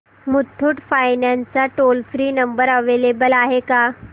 Muthoot finance चा toll free number available आहे का